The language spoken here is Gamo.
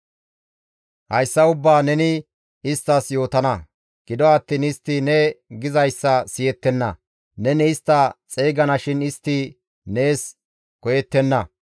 «Hayssa ubbaa neni isttas yootana; gido attiin istti ne gizayssa siyettenna; neni istta xeygana shin istti nees koyettenna.